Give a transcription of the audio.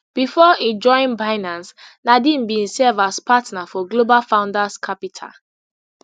before e join binance nadeem bin serve as partner for global founders capital